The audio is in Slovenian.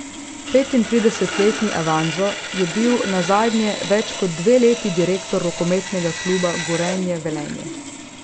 Petintridesetletni Avanzo je bil nazadnje več kot dve leti direktor rokometnega kluba Gorenje Velenje.